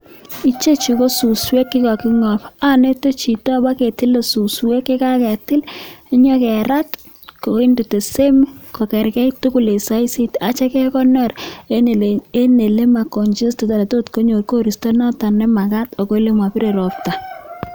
Ichechu ko suswek chekakingop, anete chito, paketile suswek ye kaketil inyekerat, koinde same kokerkait tugul eng saisit atyo kekonor eng ole ma congested tot konyor koristo nemakat ak ole mapire ropta.